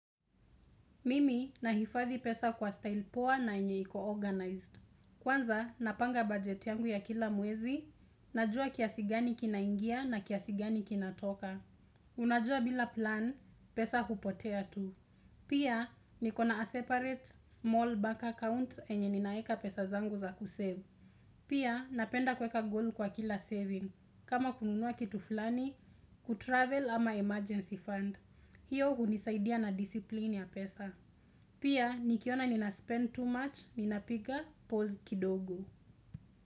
Mimi na hifadhi pesa kwa style powa na yenye iko organize. Kwanza, napanga bajeti yangu ya kila mwezi, najua kiasigani kinaingia na kiasigani kinatoka. Unajua bila plan, pesa hupotea tu. Pia, nikona a separate small bank account yenye ninaweka pesa zangu za ku save. Pia, napenda kweka goal kwa kila saving. Kama kununua kitu flani, kutravel ama emergency fund. Hiyo hunisaidia na disipline ya pesa. Pia nikiona nina spend too much, ninapika pause kidogo.